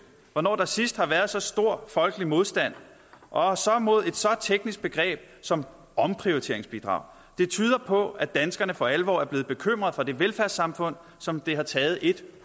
hvornår der sidst har været så stor folkelig modstand og så mod et så teknisk begreb som omprioriteringsbidrag det tyder på at danskerne for alvor er blevet bekymrede for det velfærdssamfund som det har taget en